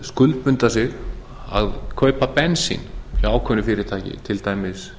skuldbinda sig til að kaupa bensín hjá ákveðnu fyrirtæki til dæmis